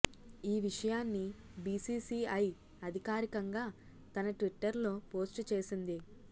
ఈ విషయాన్ని బీసీసీఐ అధికారికంగా తన ట్విట్టర్లో పోస్టు చేసింది